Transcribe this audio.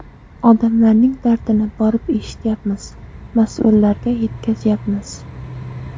Odamlarning dardini borib eshityapmiz, mas’ullarga yetkazyapmiz.